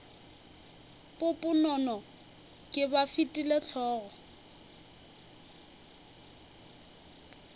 poponono ke ba file hlogo